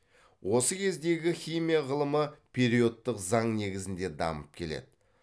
осы кездегі химия ғылымы периодтық заң негізінде дамып келеді